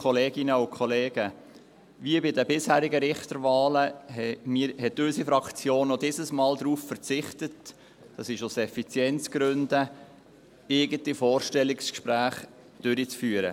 Wie bei den bisherigen Richterwahlen hat unsere Fraktion auch diesmal darauf verzichtet, dies aus Effizienzgründen, eigene Vorstellungsgespräche durchzuführen.